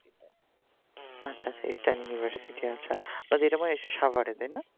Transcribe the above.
আচ্ছা eastern university আচ্ছা তো এরকম এসেছো সাগরে